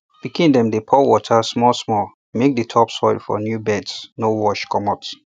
pikin dem dey pour water small small make di topsoil for new beds no wash comot